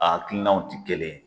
A hakilinanw tɛ kelen ye.